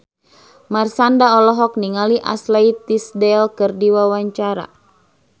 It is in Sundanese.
Marshanda olohok ningali Ashley Tisdale keur diwawancara